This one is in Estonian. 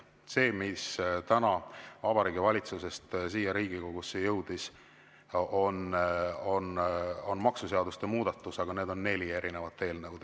Need, mis täna Vabariigi Valitsusest siia Riigikogusse jõudsid, on maksuseaduste muudatused, aga need on neli erinevat eelnõu.